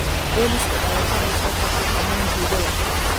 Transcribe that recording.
Booliska ayaa shalay soo qabtay dhammaan tuugada.